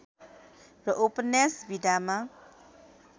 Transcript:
र उपन्यास विधामा